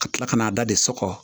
Ka tila ka n'a da de sɔkɔ